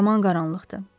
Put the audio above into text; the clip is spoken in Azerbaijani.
Yaman qaranlıqdır.